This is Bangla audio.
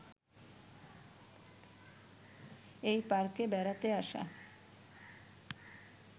এ পার্কে বেড়াতে আসা